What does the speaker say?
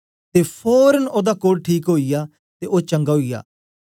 ते फोरन ओदा कोढ़ ठीक ओईया ते ओ चंगा ओई आ